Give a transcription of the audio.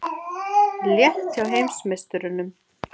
Létt hjá heimsmeisturunum